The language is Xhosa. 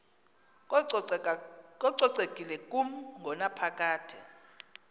kococekile kumi ngonaphakade